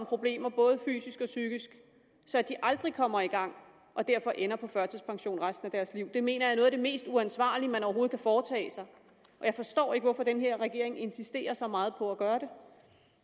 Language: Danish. problemer både fysisk og psykisk at de aldrig kommer i gang og derfor ender på førtidspension resten af deres liv det mener jeg er noget af det mest uansvarlige man overhovedet kan foretage sig og jeg forstår ikke hvorfor den her regering insisterer så meget på at gøre det